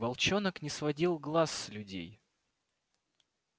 волчонок не сводил глаз с людей